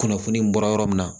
Kunnafoni bɔra yɔrɔ min na